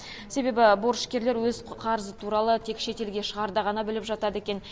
себебі борышкерлер өз қарызы туралы тек шетелге шығарда ғана біліп жатады екен